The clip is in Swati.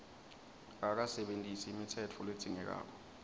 akakasebentisi imitsetfo ledzingekako